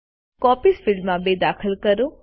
copies field માં 2 દાખલ કરો